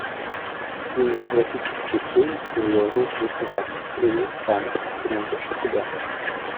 кинематографический фильм звездный путь два гнев хана ты найдешь у себя